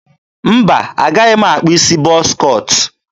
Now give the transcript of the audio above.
mba, agaghị m akpụ isi bọz cọt.